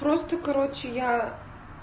просто короче я